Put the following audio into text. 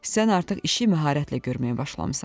Sən artıq işi məharətlə görməyə başlamısan.